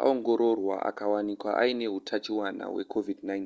aongororwa akawanikwa aine hutachiona hwecovid-19